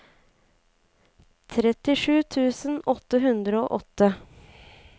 trettisju tusen åtte hundre og åtte